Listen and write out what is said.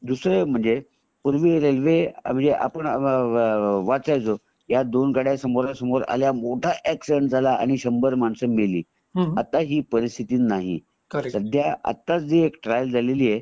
दूसरा म्हणजे पूर्वी रेल्वे म्हणजे अ अ आपण वाचायचो ह्या दोन गद्य समोरासमोर आल्या आणि मोठा अॅक्सिडेंट झाला आणि शंभर मानस मेली आता ही परिसतिथी नाही सध्या जी एक ट्रायल झाली आहे